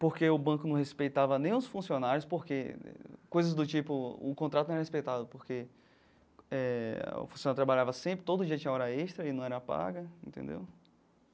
Porque o banco não respeitava nem os funcionários, porque coisas do tipo, o contrato não era respeitado, porque eh o funcionário trabalhava sempre, todo dia tinha hora extra e não era paga, entendeu?